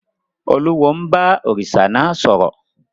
Olúwo ń bá òrìṣà náà sọ̀rọ̀.